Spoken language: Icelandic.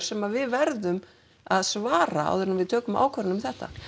sem við verðum að svara áður en við tökum ákvörðun um þetta